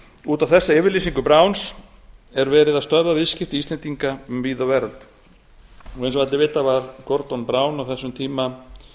út á þessa yfirlýsingu browns er verið að stöðva viðskipti íslendinga um víða veröld eins og allir vita var gordon brown á þessum tíma